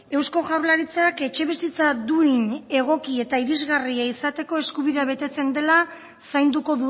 eusko jaurlaritzak etxebizitza duin egoki eta irisgarria izateko eskubidea betetzen dela zainduko